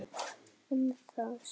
Um það segir